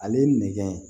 Ale ye nɛgɛ